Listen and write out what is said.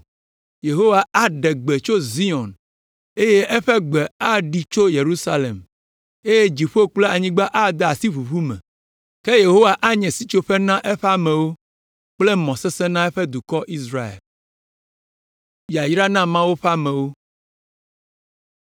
Yehowa aɖe gbe tso Zion eye eƒe gbe aɖi tso Yerusalem eye dziƒo kple anyigba ade asi ʋuʋu me. Ke Yehowa anye sitsoƒe na eƒe amewo kple mɔ sesẽ na eƒe dukɔ Israel.